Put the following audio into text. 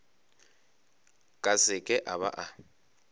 ka seke a ba a